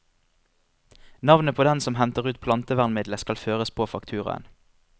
Navnet på den som henter ut plantevernmidlet skal føres på fakturaen.